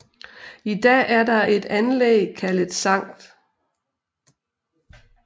I dag er der et anlæg kaldet Sct